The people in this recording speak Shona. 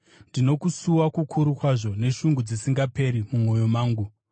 ndino kusuwa kukuru kwazvo neshungu dzisingaperi mumwoyo mangu.